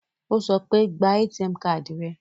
Ó sọ pé, ba ATM káàdì rẹ